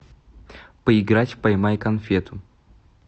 поиграть в поймай конфету